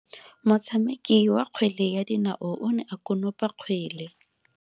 Motshameki wa kgwele ya dinao o ne a konopa kgwele.